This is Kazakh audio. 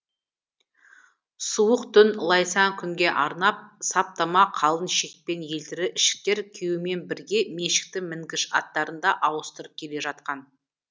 суық түн лайсаң күнге арнап саптама қалын шекпен елтірі ішіктер киюмен бірге меншікті мінгіш аттарын да ауыстырып келе жатқан